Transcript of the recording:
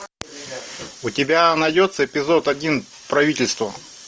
у тебя найдется эпизод один правительство